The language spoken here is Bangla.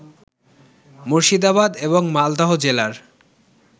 মুর্শিদাবাদ এবং মালদহ জেলার